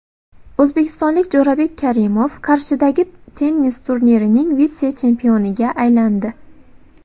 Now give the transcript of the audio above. O‘zbekistonlik Jo‘rabek Karimov Qarshidagi tennis turnirining vitse-chempioniga aylandi.